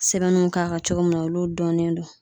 Sɛbɛnnuw k'a kan cogo min na olu dɔnnen do